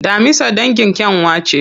Daminsa dangin kyanwa ce.